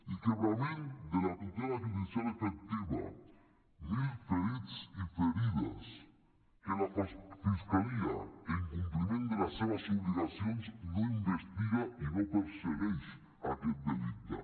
i trencament de la tutela judicial efectiva mil ferits i ferides que la fiscalia en compliment de les seves obligacions no investiga i no persegueix aquest delicte